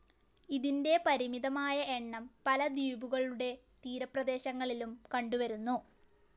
ഇതിൻ്റെ പരിമിതമായ എണ്ണം പല ദ്വീപുകളുടെ തീരപ്രേദേശങ്ങളിലും കണ്ടുവരുന്നു.